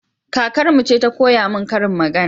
Kakarmu ce ta koya min karin magana